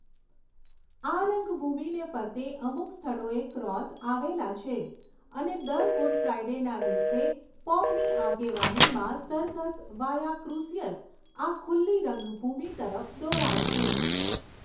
આ રંગભૂમીને ફરતે અમુક સ્થળોએ ક્રોસ અવેલા છે અને દર ગુડ ફ્રાયડેના દિવસે પોપની આગેવાનીમાં સરઘસ વાયા ક્રુસિયસ આ ખુલ્લી રંગભૂમી તરફ દોરાય છે.